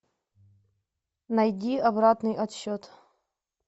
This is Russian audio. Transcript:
найди обратный отсчет